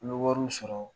An bɛ wariw sɔrɔ